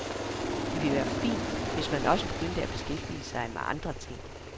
Det ville være fint, hvis man også begyndte at beskæftige sig med andre ting.